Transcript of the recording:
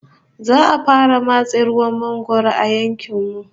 Za'a fara matse ruwan mangwaro a yankin mu